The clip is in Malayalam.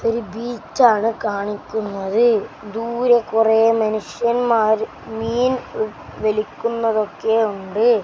ഒരു ബീച്ചാണ് കാണിക്കുന്നത് ദൂരെ കുറെ മനുഷ്യന്മാർ മീൻ വലിക്കുന്നതൊക്കെ ഉണ്ട്.